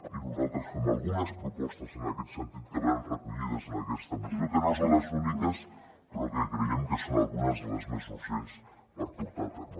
i nosaltres fem algunes propostes en aquest sentit que venen recollides en aquesta moció que no són les úniques però que creiem que són algunes de les més urgents per portar a terme